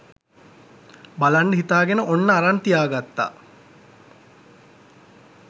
බලන්ඩ හිතාගෙන ඔන්න අරන් තියාගත්තා.